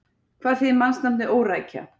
Hvað þýðir mannsnafnið Órækja?